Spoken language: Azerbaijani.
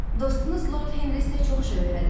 Dostunuz Lord Henri isə çox şey öyrədib.